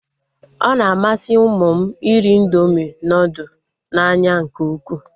Ọ na-amasị ụmụ m iri indoomị nudụ n'anya nke ukwuu